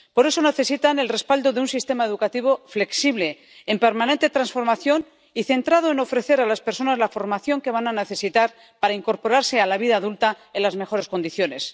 Por eso necesitan el respaldo de un sistema educativo flexible, en permanente transformación y centrado en ofrecer a las personas la formación que van a necesitar para incorporarse a la vida adulta en las mejores condiciones.